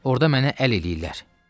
Orda mənə əl eləyirlər.